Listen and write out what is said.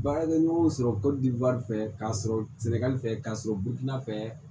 Baarakɛ ɲɔgɔnw sɔrɔ fɛ k'a sɔrɔ sɛnɛgali fɛ k'a sɔrɔ butigi na fɛ